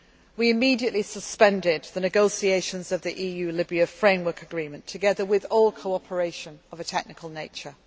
responsibility. We immediately suspended the negotiations of the EU Libya framework agreement, together with all cooperation of a